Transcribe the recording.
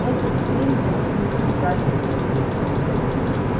этот хмель должен был ударить тебе в голову